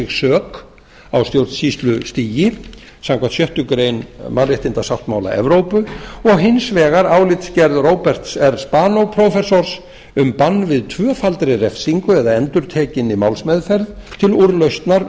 sök á stjórnsýslustigi samkvæmt sjöttu grein mannréttindasáttmála evrópu og hins vegar álitsgerð róberts s spanó prófessors um bann við tvöfaldri refsingu eða endurtekinni málsmeðferð til úrlausnar